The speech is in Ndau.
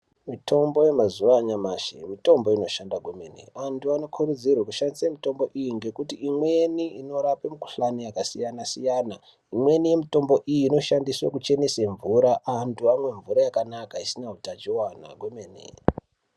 Mitombo yanyamashi mitombo inoshanda kwemene antu antu anokurudzirwe kushandisa mitombo iyi. Ngekuti imweni inorapa mikuhlani yakasiyana-siyana. Imweni yemitombo iyi inoshandiswa kuchenesa mvura antu amwe mvura yakanaka isina hutachivana kwemene.